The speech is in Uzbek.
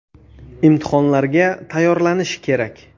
Imtihonlarga tayyorlanish kerak.